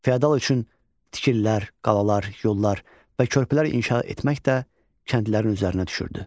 Fiodal üçün tikililər, qalalar, yollar və körpülər inşa etmək də kəndlilərin üzərinə düşürdü.